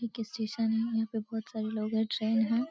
एक स्टेशन है। यहाँ पे बहोत सारे लोग हैं ट्रेन है।